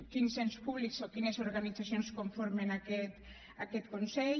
quins ens públics o quines organitzacions conformen aquest consell